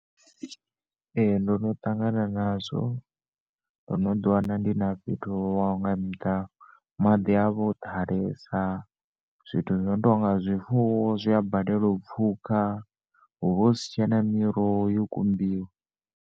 Ee, ndono ṱangana nazwo. Ndono ḓi wana ndi na fhethu ho waho nga miḓalo, maḓi avha o ḓalesa, zwithu zwino tonga zwifuwo zwia balelwa u pfuka, huvha husi tshena miroho yo kumbiwa.